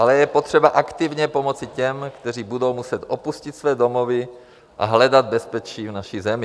Ale je potřeba aktivně pomoci těm, kteří budou muset opustit své domovy a hledat bezpečí v naší zemi.